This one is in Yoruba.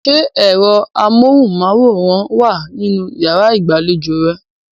Ṣé ẹ̀rọ amóhùnmáwòrán wà nínú yàrá ìgbàlejò rẹ?